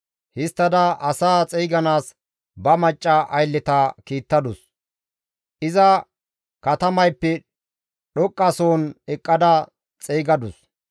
Histtada asaa xeyganaas ba macca aylleta kiittadus. Iza katamayppe dhoqqa soon eqqada xeygadus;